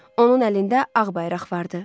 Onun əlində ağ bayraq vardı.